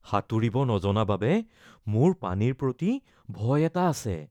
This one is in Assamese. সাঁতুৰিব নজনা বাবে মোৰ পানীৰ প্ৰতি ভয় এটা আছে